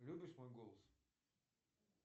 любишь мой голос